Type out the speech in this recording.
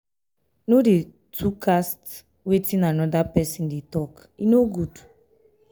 no dey to cast wetin anoda pesin dey tok e no good.